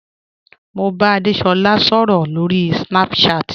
Mo n bá Adésolá sọ̀rọ̀ lórí Snapchat.